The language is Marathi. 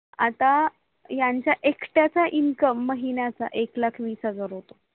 आता यांच्या एकट्याचा INCOME महिन्याचा एक लाख वीस हजार होतो